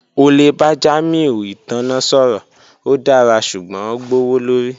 O le ba Jamiu itanna sọrọ, o dara ṣugbọn gbowolori